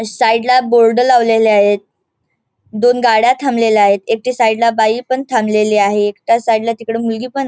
side ला बोर्ड लावलेले आहेत दोन गाड्या थांबलेल्या आहेत एकटी साइड ला बाई पण थांबलेली आहे एकट्या साइड ला मुलगीपण --